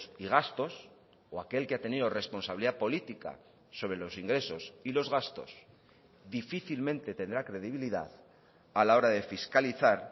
y gastos o aquel que ha tenido responsabilidad política sobre los ingresos y los gastos difícilmente tendrá credibilidad a la hora de fiscalizar